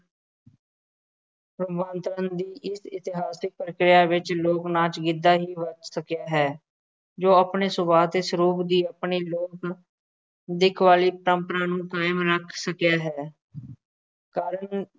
ਪਰਿਵਰਤਨ ਦੀ ਇਸ ਇਤਿਹਾਸਕ ਪ੍ਰਕਿਰਿਆ ਵਿੱਚ ਲੋਕ ਨਾਚ ਗਿੱਧਾ ਹੀ ਬੱਚ ਸਕਿਆ ਹੈ, ਜੋ ਆਪਣੇ ਸ਼ੁਰੂਆਤੀ ਸਰੂਪ ਦੀ ਆਪਣੀ ਲੋਕ ਦੇ ਮੌਲਿਕ ਪਰੰਪਰਾ ਨੂੰ ਕਾਇਮ ਰੱਖ ਸਕਿਆ ਹੈ, ਕਾਰਨ